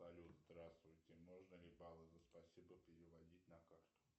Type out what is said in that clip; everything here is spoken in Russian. салют здравствуйте можно ли баллы за спасибо переводить на карту